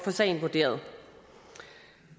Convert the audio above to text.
sagen vurderet